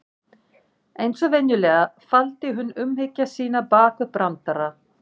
Eins og venjulega, faldi hún umhyggju sína bak við brandara.